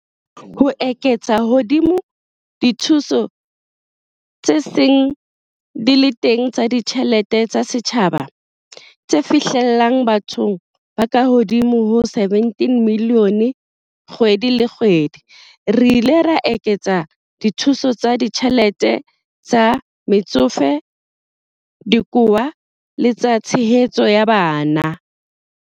Ho eketsa hodima dithuso tse seng di le teng tsa ditjhe lete tsa setjhaba, tse fihlellang bathong ba kahodimo ho 17 milione kgwedi le kgwedi, re ile ra eketsa dithuso tsa ditjhelete tsa Metsofe, tsa Dikowa le tsa Tshehetso ya Bana.